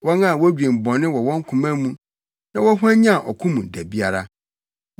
wɔn a wodwen bɔne wɔ wɔn koma mu na wɔhwanyan ɔko mu da biara.